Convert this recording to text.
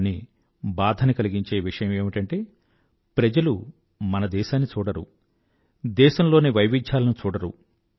కానీ బాధని కలిగించే విషయం ఏమిటంటె ప్రజలు మన దేశాన్ని చూడరు దేశం లోని వైవిధ్యాలను చూడరు